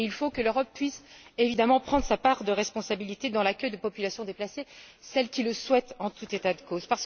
Il faut que l'Europe puisse, évidemment, prendre sa part de responsabilité dans l'accueil des populations déplacées, celles qui le souhaitent en tout état de cause.